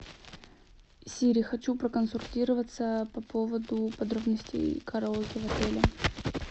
сири хочу проконсультироваться по поводу подробностей караоке в отеле